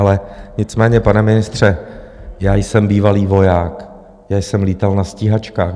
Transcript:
Ale nicméně, pane ministře, já jsem bývalý voják, já jsem lítal na stíhačkách.